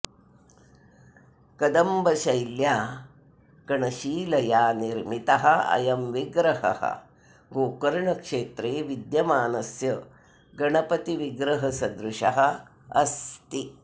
कदम्बशैल्या कणशिलया निर्मितः अयं विग्रहः गोकर्णक्षेत्रे विद्यमानस्य गण्पतिविग्रहसदृशः अस्ति